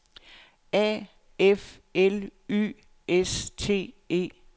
A F L Y S T E